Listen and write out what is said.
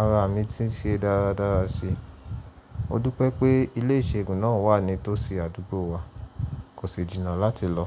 ara mi ti ṣe dáradára si. Mo dúpẹ́ pé ilé ìṣègùn náà wà ní tòsí àdúgbò wa, kò sì jìnnà láti lọ.